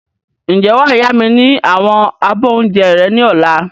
Ǹjẹ́ wàá yá mi ni àwọn abọ́ oúnjẹ rẹ ni ọ̀la?